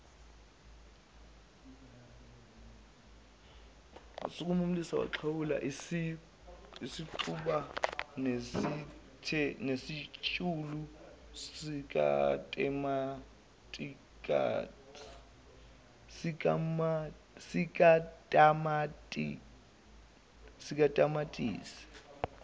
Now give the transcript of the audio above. usixuba nesitshulu sikatamatisi